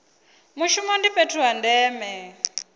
mushumo ndi fhethu ha ndeme